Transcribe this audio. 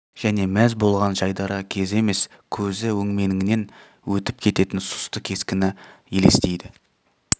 және мәз болған жайдары кезі емес көзі өңменіңнен өтіп кететін сұсты кескіні елестейді